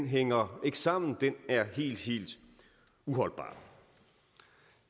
hænger sammen den er helt helt uholdbar